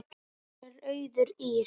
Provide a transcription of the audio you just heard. Dóttir þeirra er Auður Ýrr.